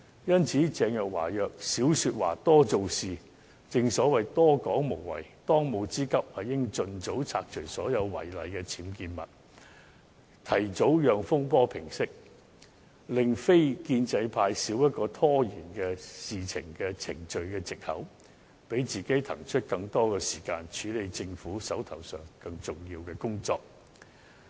因此，鄭若驊宜少說話，多做事，正所謂多說無謂，當務之急，應盡早拆除所有違例的僭建物，提早讓風波平息，令非建制派少一個拖延議事程序的藉口，讓自己騰出更多時間，處理手上更重要的工作。